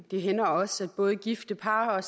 det hænder også at både gifte par